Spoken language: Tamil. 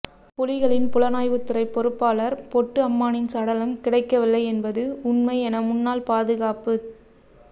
புலிகளின் புலனாய்வுத்துறைப் பொறுப்பாளர் பொட்டு அம்மானின் சடலம் கிடைக்கவில்லை என்பது உண்மை என முன்னாள் பாதுகாப்புச்